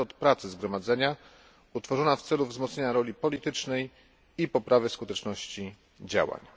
metod pracy Zgromadzenia, utworzona w celu wzmocnienia roli politycznej i poprawy skuteczności działań.